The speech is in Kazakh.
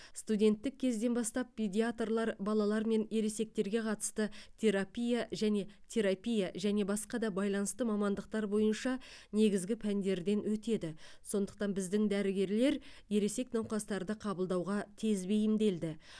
студенттік кезден бастап педиатрлар балалар мен ересектерге қатысты терапия және терапия және басқа да байланысты мамандықтар бойынша негізгі пәндерден өтеді сондықтан біздің дәрігерлер ересек науқастарды қабылдауға тез бейімделді